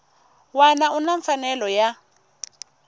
wana u na mfanelo ya